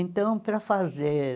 Então, para fazer